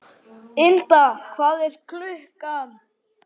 Ynda, hvað er klukkan?